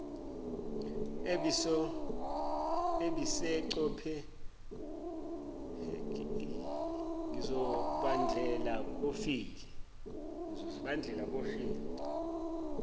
ebisecopenhagen ngozibandlela kofile